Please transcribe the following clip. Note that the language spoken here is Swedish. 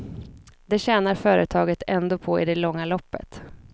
Det tjänar företaget ändå på i det långa loppet.